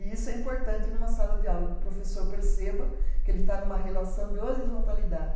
E isso é importante em uma sala de aula, que o professor perceba que ele está em uma relação de horizontalidade.